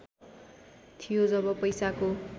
थियो जब पैसाको